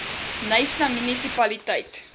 knysna munisipaliteit